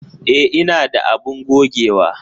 E, ina da abun gogewa.